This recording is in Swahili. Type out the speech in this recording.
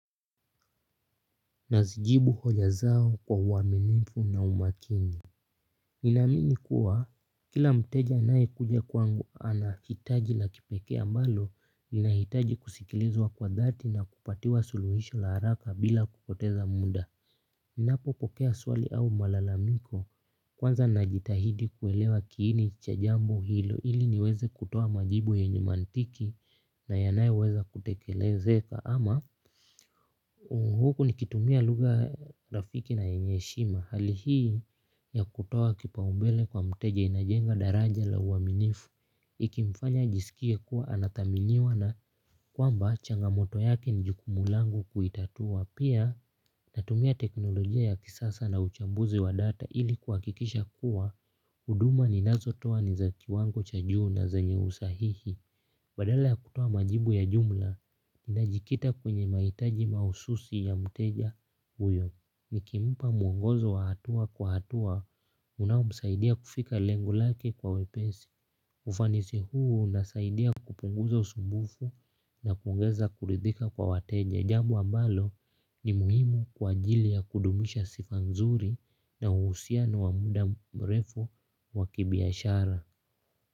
Nazijibu hoja zao kwa uaminifu na umakini. Ninaamini kuwa, kila mteja anayekuja kwangu ana hitaji na kipekee ambalo, linahitaji kusikilizwa kwa dhati na kupatiwa suluhisho la haraka bila kupoteza muda. Ninapopokea swali au malalamiko, kwanza najitahidi kuelewa kiini cha jambo hilo, ili niweze kutoa majibu yenye mantiki na yanayoweza kutekelezeka. Ama huku nikitumia lugha rafiki na yenye heshima hali hii ya kutoa kipaumbele kwa mteja inajenga daraja la uaminifu ikimfanya ajisikie kuwa anathaminiwa na kwamba changamoto yake ni jukumu langu kuitatua. Pia natumia teknolojia ya kisasa na uchambuzi wa data ili kuhakikisha kuwa huduma ninazotoa ni za kiwango cha juu na zenye usahihi. Badala ya kutoa majibu ya jumla, ninajikita kwenye mahitaji mahususi ya mteja huyo. Nikimpa mwongozo wa hatua kwa hatua, unaomsaidia kufika lengo lake kwa wepesi. Ufanisi huu unasaidia kupunguza usumbufu na kuongeza kuridhika kwa wateja. Jambo ambalo ni muhimu kwa ajili ya kudumisha sifa nzuri na uhusiano wa muda mrefu wa kibiashara.